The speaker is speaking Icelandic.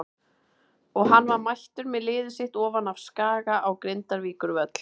Og hann var mættur með liðið sitt ofan af Skaga á Grindavíkurvöll.